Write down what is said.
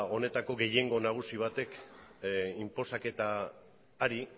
honetako gehiengo nagusi batek inposaketa